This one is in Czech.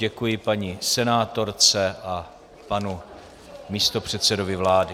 Děkuji paní senátorce a panu místopředsedovi vlády.